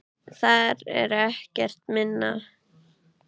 Það er ekkert minna!